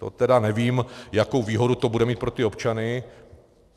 To teda nevím, jakou výhodu to bude mít pro ty občany.